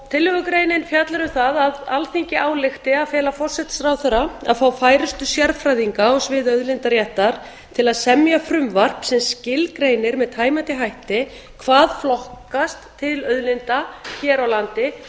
tillögugreinin fjallar um það að alþingi álykti að fela forsætisráðherra að fá færustu sérfræðinga á sviði auðlindaréttar til að semja frumvarp sem skilgreinir með tæmandi hætti hvað flokkast til auðlinda hér á landi